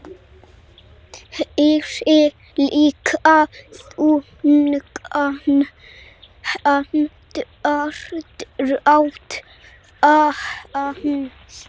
Heyri líka þungan andardrátt hans.